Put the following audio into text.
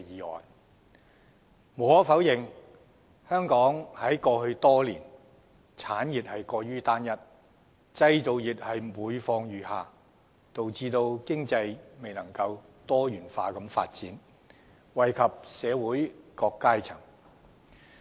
無可否認，香港過去多年的產業發展過於單一，製造業每況愈下，導致經濟未能多元發展，惠及社會各階層。